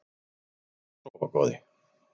Farðu inn að sofa góði.